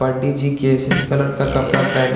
पंडित जी केसरी कलर का कपड़ा पहने--